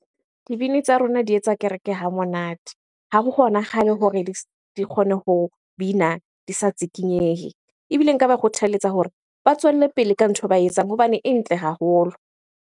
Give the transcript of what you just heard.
Dibini tsa rona di etsa kereke ha monate. Ha ho kgonagale hore di kgone ho bina di sa tsikinyehe. Ebile nka ba kgothaletsa hore ba tswelle pele ka ntho e ba etsang hobane e ntle haholo.